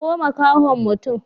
Kawo makahon mutum.